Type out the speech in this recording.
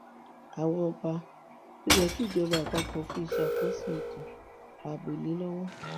àwa ọba ló yẹ kí ìjọba àpapọ fi ìṣàkóso ètò ààbò lé lọwọ